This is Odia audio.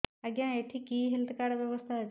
ଆଜ୍ଞା ଏଠି କି କି ହେଲ୍ଥ କାର୍ଡ ବ୍ୟବସ୍ଥା ଅଛି